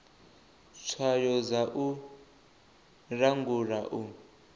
tswayo dza u langula u